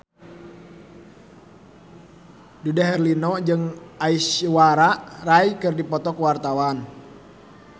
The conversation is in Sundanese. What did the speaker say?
Dude Herlino jeung Aishwarya Rai keur dipoto ku wartawan